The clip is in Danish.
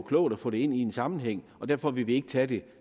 klogt at få det ind i en sammenhæng og derfor vil vi ikke tage det